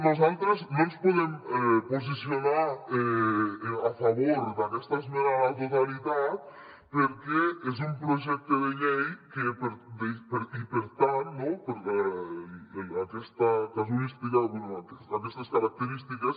nosaltres no ens podem posicionar a favor d’aquesta esmena a la totalitat perquè és un projecte de llei i per tant no per aquestes característiques